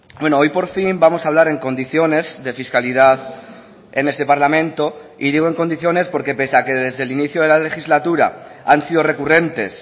bueno hoy por fin vamos a hablar en condiciones de fiscalidad en este parlamento y digo en condiciones porque pese a que desde el inicio de la legislatura han sido recurrentes